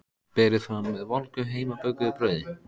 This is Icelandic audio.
Berið fram með volgu heimabökuðu brauði.